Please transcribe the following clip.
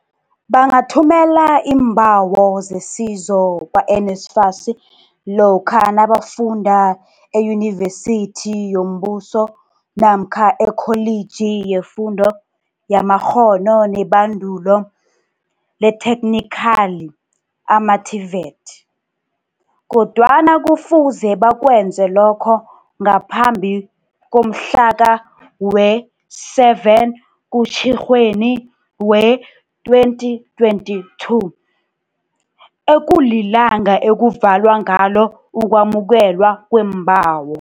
Bangathumela iimbawo zesizo kwa-NSFAS lokha nabafunda eyunivesithi yombuso namkha eKholiji yeFundo yamaKghono neBandulo leThekhnikhali, ama-TVET, kodwana kufuze bakwenze lokho ngaphambi komhla we-7 kuTjhirhweni wee-2022 ekulilanga ekuvalwa ngalo ukwamukelwa kwembawo.